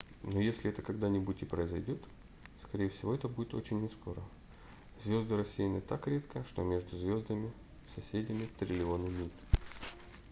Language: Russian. но если это когда-нибудь и произойдет скорее всего это будет очень нескоро звезды рассеяны так редко что между звездами-соседями триллионы миль